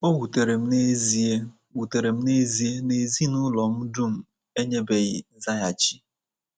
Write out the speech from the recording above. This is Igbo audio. O wutere m n’ezie wutere m n’ezie na ezinụlọ m dum enyebeghi nzaghachi.